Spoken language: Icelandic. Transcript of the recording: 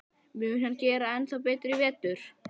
Mun hann gera ennþá betur í vetur?